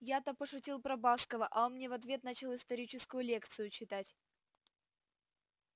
я то пошутил про баскова а он мне в ответ начал историческую лекцию читать